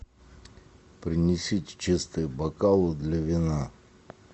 принесите чистые бокалы для вина